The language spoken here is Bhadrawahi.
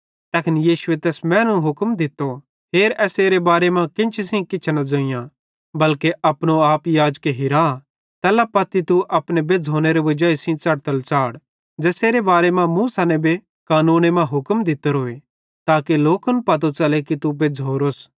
तैखन यीशुए तैस मैनू हुक्म दित्तो हेर एसेरे बारे मां केन्ची सेइं किछ न ज़ोइयां बल्के अपने आपे याजके हिरा तैल्ला पत्ती तू अपने बेज़्झ़ोनेरे वजाई सेइं च़ढ़तल च़ाढ़ ज़ेसेरे बारे मां मूसा नेबे कानूने मां हुक्म दित्तोरोए ताके लोकन पतो च़ले कि तू बेज्झ़ोरोस